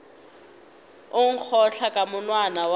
o nkgotla ka monwana wa